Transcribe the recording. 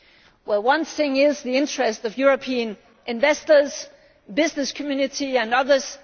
For one, it is in the interests of European investors, the business community and others.